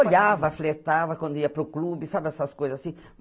Olhava, flertava quando ia para o clube, sabe essas coisas assim.